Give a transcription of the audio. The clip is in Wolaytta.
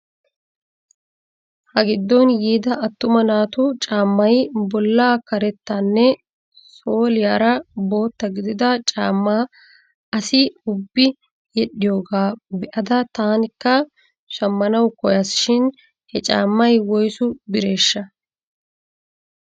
Ha giddon yiida attuma naatu caammay bollaa karettanne sooliyaara bootta gidida caammaa asi ubbi yedhdhiyoogaa be'ada tankka shammanaw koyas shin he caammay woyssu biraashsha?